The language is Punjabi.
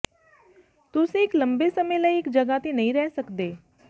ਤੁਸੀਂ ਇੱਕ ਲੰਬੇ ਸਮੇਂ ਲਈ ਇੱਕ ਜਗ੍ਹਾ ਤੇ ਨਹੀਂ ਰਹਿ ਸਕਦੇ